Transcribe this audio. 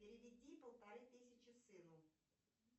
переведи полторы тысячи сыну